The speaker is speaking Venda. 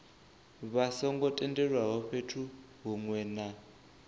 songo tendelwaho fhethu hunwe na